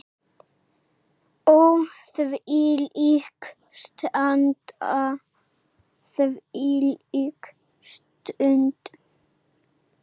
Ó þvílík stund, þvílík stund.